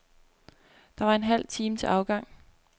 Der var en halv time til afgang.